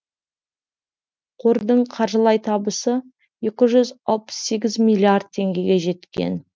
қордың қаржылай табысы екі жүз алпыс сегіз миллиард теңгеге жеткен